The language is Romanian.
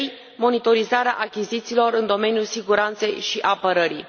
3. monitorizarea achizițiilor în domeniul siguranței și apărării.